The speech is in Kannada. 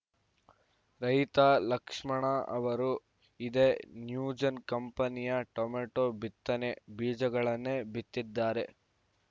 ರೈತ ಲಕ್ಷ್ಮಣ ಅವರು ಇದೇ ನ್ಯೂಜೆನ್‌ ಕಂಪನಿಯ ಟೊಮೆಟೋ ಬಿತ್ತನೆ ಬೀಜಗಳನ್ನೇ ಬಿತ್ತಿದ್ದಾರೆ